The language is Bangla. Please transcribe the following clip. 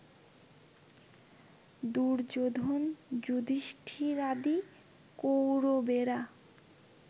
দুর্যোধন যুধিষ্ঠিরাদি কৌরবেরা